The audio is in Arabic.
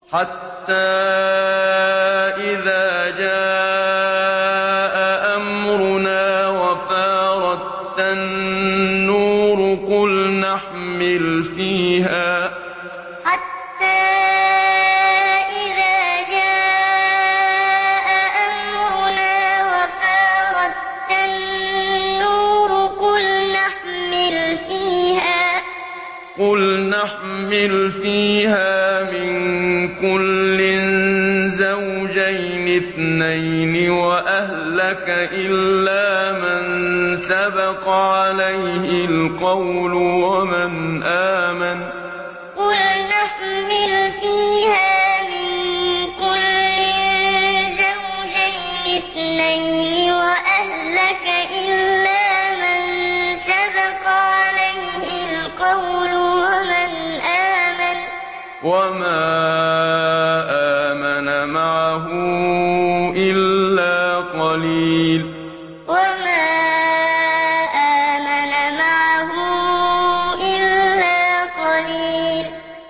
حَتَّىٰ إِذَا جَاءَ أَمْرُنَا وَفَارَ التَّنُّورُ قُلْنَا احْمِلْ فِيهَا مِن كُلٍّ زَوْجَيْنِ اثْنَيْنِ وَأَهْلَكَ إِلَّا مَن سَبَقَ عَلَيْهِ الْقَوْلُ وَمَنْ آمَنَ ۚ وَمَا آمَنَ مَعَهُ إِلَّا قَلِيلٌ حَتَّىٰ إِذَا جَاءَ أَمْرُنَا وَفَارَ التَّنُّورُ قُلْنَا احْمِلْ فِيهَا مِن كُلٍّ زَوْجَيْنِ اثْنَيْنِ وَأَهْلَكَ إِلَّا مَن سَبَقَ عَلَيْهِ الْقَوْلُ وَمَنْ آمَنَ ۚ وَمَا آمَنَ مَعَهُ إِلَّا قَلِيلٌ